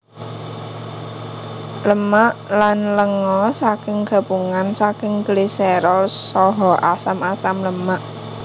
Lemak lan lenga saking gabungan saking gliserol saha asam asam lemak